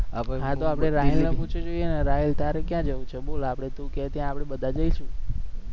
હા તો આપણે રાહિલે પુછી જોઈએ ને રાહિલે તારે ક્યા જવુ છે બોલ આપણે તુ કહે ત્યા આપણે બધા જઈશુ.